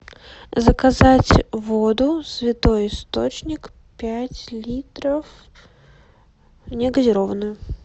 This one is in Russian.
заказать воду святой источник пять литров негазированную